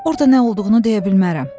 Orda nə olduğunu deyə bilmərəm.